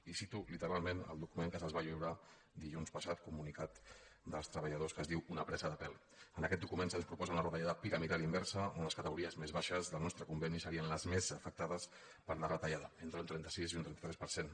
i cito literalment el document que se’ls va lliurar dilluns passat comunicat dels treballadors que es diu una presa de pèl en aquest document se’ns proposa una retallada piramidal inversa on les categories més baixes del nostre conveni serien les més afectades per la retallada entre un trenta sis i un trenta tres per cent